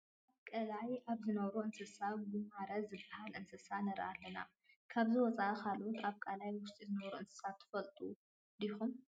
ኣብ ቀላይ ካብ ዝነብሩ እንስሳት ጉማረ ዝበሃል እንስሳ ንርኢ ኣለና፡፡ ካብዚ ወፃኢ ካልኦት ኣብ ቀላይ ውሽጢ ዝነብሩ እንስሳት ትፈልጡ ዲኹም?